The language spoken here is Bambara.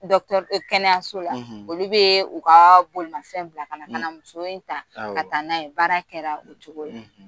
be kɛnɛyaso la, olu be u ka bolomanfɛn bila kana kana muso in ta ka taa n'a ye baara kɛra o cogo re ra